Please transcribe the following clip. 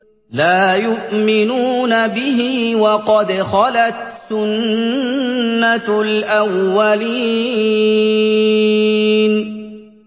لَا يُؤْمِنُونَ بِهِ ۖ وَقَدْ خَلَتْ سُنَّةُ الْأَوَّلِينَ